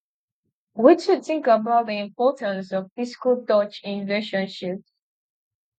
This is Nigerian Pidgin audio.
wetin you think about di importance of physical touch in relationships